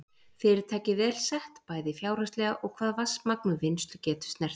Fyrirtækið vel sett, bæði fjárhagslega og hvað vatnsmagn og vinnslugetu snertir.